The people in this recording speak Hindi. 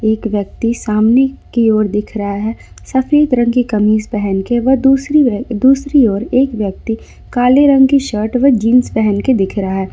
एक व्यक्ति सामने की ओर दिख रहा है सफेद रंग की कमीज पहन के वह दूसरी दूसरी ओर एक व्यक्ति काले रंग की शर्ट व जींस पहन के दिख रहा है।